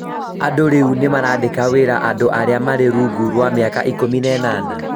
andũ rĩu nĩ marandĩka wĩra andũ arĩa marĩ rungu rwa mĩaka ikũmi na ĩnana